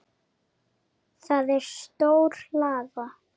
Það er stór hlaða.